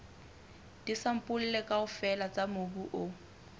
disampole kaofela tsa mobu o